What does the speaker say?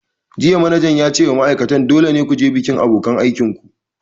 Jiya manajan ya ce wa ma'aikatan 'Dole ne ku je bikin abokanan aikin ku'!